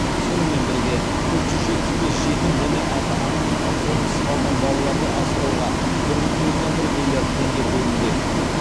сонымен бірге төрт жүз жетпіс бес жетім және ата ананың қамқорынсыз қалған балаларды асырауға бір бүтін оннан бір миллиард теңге бөлінбек